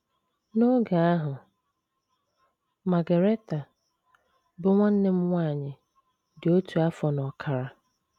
N’oge ahụ, Margaretha, bụ́ nwanne m nwanyị, di otu afọ na ọkara.